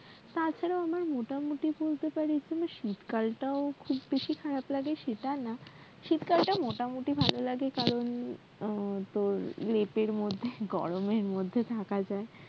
তারপরে আমার মোটামুটি বলতে গেলে এখানে শীতকাল টাও খুব বেশি খারাপ লাগে সেটা না শীতকাল টা মোটামুটি ভাললাগে কারণ আহ তোর লেপ এর মধ্যে গরমের মধ্যে থাকা যায়